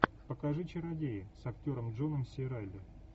покажи чародеи с актером джоном си райли